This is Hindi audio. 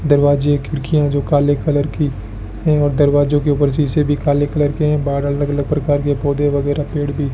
दरवाजे खिड़कियां जो काले कलर की एवंम दरवाजों के ऊपर शीशे भी काले कलर के है बाहर अलग अलग प्रकार के पौधे वगैरा पेड़ भी --